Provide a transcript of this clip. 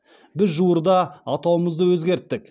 біз жуырда атауымызды өзгерттік